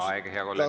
Aeg, hea kolleeg!